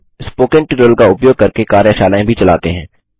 spoken tutorial का उपयोग करके कार्यशालाएँ भी चलाते हैं